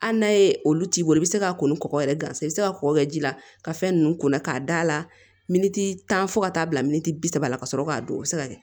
Hali n'a ye olu t'i bolo i bɛ se k'a kɔni kɔgɔ yɛrɛ gansan i bɛ se ka kɔkɔ kɛ ji la ka fɛn ninnu ko la k'a d'a la miniti tan fo ka taa bila minti bi saba la ka sɔrɔ k'a don o bɛ se ka kɛ